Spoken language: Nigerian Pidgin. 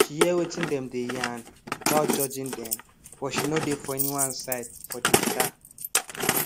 she hear wetin dem dey yarn without judging dem but she no dey for anyone side for the matter